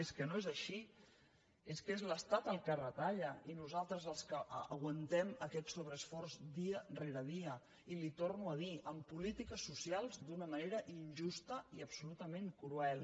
és que no és així és que és l’estat el que retalla i nosaltres els que aguantem aquest sobreesforç dia rere dia i li ho torno a dir en polítiques socials d’una manera injusta i absolutament cruel